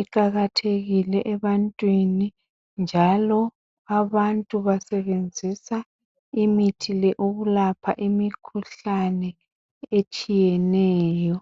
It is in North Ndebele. iqakathekile ebantwini njalo abantu basebenzisa imithi le ukulapha imikhuhlane etshiyeneyo.